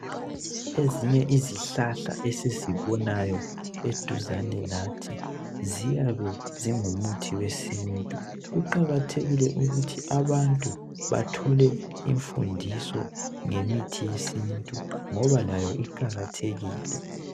Ezinye izihlahla esizibona duzane lathi ziyabe ziyi mithi yesintu. Kuqakathekile ukuthi abantu bathole imfundiso ngemithi yesintu ngoba layo iqakathekile.